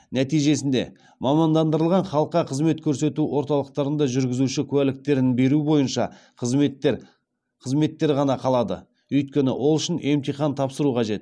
нәтижесінде мамандандырылған халыққа қызмет көрсету орталықтарында жүргізуші куәліктерін беру бойынша қызметтер ғана қалады өйткені ол үшін емтихан тапсыру қажет